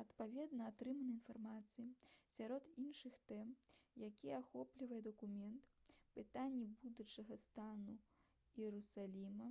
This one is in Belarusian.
адпаведна атрыманай інфармацыі сярод іншых тэм якія ахоплівае дакумент пытанні будучага стану іерусаліма